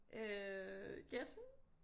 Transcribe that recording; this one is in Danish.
Øh gæt